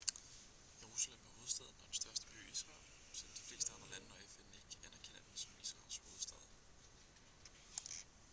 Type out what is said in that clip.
jerusalem er hovedstaden og den største by i israel selvom de fleste andre lande og fn ikke anerkender den som israels hovedstad